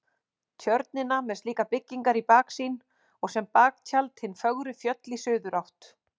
Tjörnina með slíkar byggingar í baksýn og sem baktjald hin fögru fjöll í suðurátt.